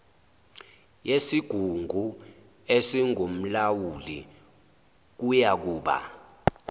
yesigungu esingumlawuli kuyakuba